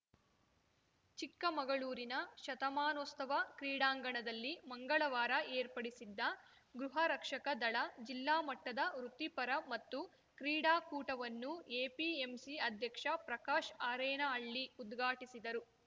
ಚಿಕ್ಕಮಗಳೂರಿನ ಶತಮಾನೋಸ್ತವ ಕ್ರೀಡಾಂಗಣದಲ್ಲಿ ಮಂಗಳವಾರ ಏರ್ಪಡಿಸಿದ್ದ ಗೃಹರಕ್ಷಕ ದಳ ಜಿಲ್ಲಾ ಮಟ್ಟದ ವೃತ್ತಿಪರ ಮತ್ತು ಕ್ರೀಡಾಕೂಟವನ್ನು ಎಪಿಎಂಸಿ ಅಧ್ಯಕ್ಷ ಪ್ರಕಾಶ್‌ ಆರೇನಹಳ್ಳಿ ಉದ್ಘಾಟಿಸಿದರು